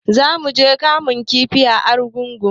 Zamu je muga kamun kifi a argungu